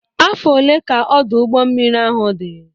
Afọ one ka Ọdụ ụgbọ mmiri ahụ dị?